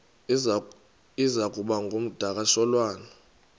iza kuba ngumdakasholwana